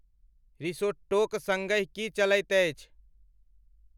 रिसोट्टोक संगहि की चलैत अछि?